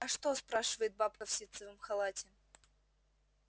а что спрашивает бабка в ситцевом халате